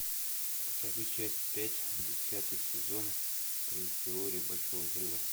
покажи часть пять десятый сезон три теория большого взрыва